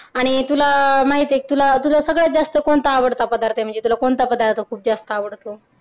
आणि तुला माहितेय तुला तुझा कोणता सगळ्यात जास्त आवडता पदार्थ आहे म्हणजे तुला कोणता पदार्थ सगळ्यात जास्त आवडत